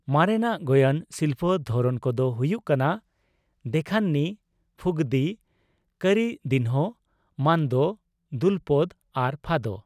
ᱢᱟᱨᱮᱱᱟᱜ ᱜᱳᱭᱟᱱ ᱥᱤᱞᱯᱚ ᱫᱷᱚᱨᱚᱱ ᱠᱚᱫᱚ ᱦᱩᱭᱩᱜ ᱠᱟᱱᱟ ᱫᱮᱠᱷᱟᱱᱱᱤ, ᱯᱷᱩᱜᱽᱫᱤ, ᱠᱚᱨᱤᱫᱤᱱᱦᱳ, ᱢᱟᱱᱫᱳ, ᱫᱩᱞᱯᱳᱫ ᱟᱨ ᱯᱷᱟᱫᱳ ᱾